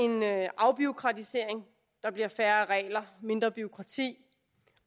afbureaukratisering der bliver færre regler mindre bureaukrati